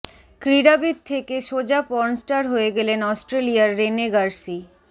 ক্রীড়াবিদ থেকে সোজা পর্নস্টার হয়ে গেলেন অস্ট্রেলিয়ার রেনে গার্সি